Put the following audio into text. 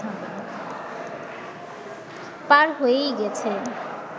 পার হয়েই গেছে